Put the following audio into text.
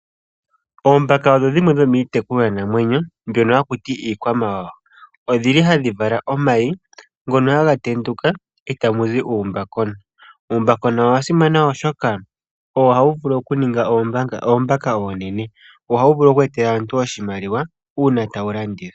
Oombaka odho dhimwe dhomiitekulwanamwenyo mbyono haku ti iikwamawawa. Odhi li hadhi vala omayi ngono haga tenduka e tamu zi uumbakona. Uumbakona owa simana oshoka owo hawu vulu okuninga oombaka oonene. Wo ohawu vulu oku etela aantu oshimaliwa uuna taye wu landitha.